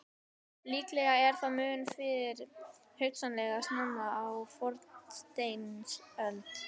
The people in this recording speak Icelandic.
Líklega er það mun fyrr, hugsanlega snemma á fornsteinöld.